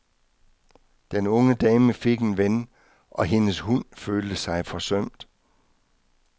Den unge dame fik en ven, og hendes hund følte sig forsømt.